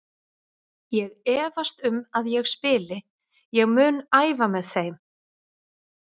Ég efast um að ég spili, ég mun æfa með þeim.